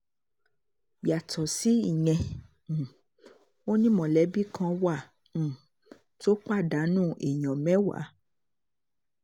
yàtọ̀ sí ìyẹn um ò ní mọ̀lẹ́bí kan wà um tó pàdánù èèyàn mẹ́wàá